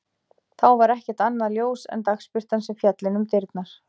Þá var ekkert annað ljós en dagsbirtan sem féll inn um dyrnar.